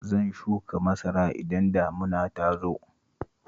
Zan shuka masara idan damuna ta zo